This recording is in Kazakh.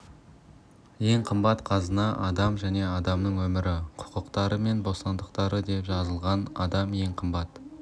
ең қымбат қазынасы адам және адамның өмірі құқықтары мен бостандықтары деп жазылған адам ең қымбат